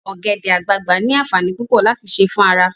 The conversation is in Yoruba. Ogbede-agbagba ni aanfanii pupo lati se fun ara